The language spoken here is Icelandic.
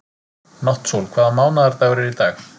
Náttsól, hvaða mánaðardagur er í dag?